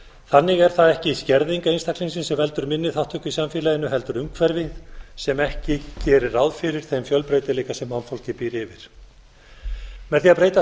þannig er það ekki skerðing einstaklingsins sem veldur minni þátttöku í samfélaginu heldur umhverfi sem ekki gerir ráð fyrir þeim fjölbreytileika sem mannfólkið býr yfir með því að breyta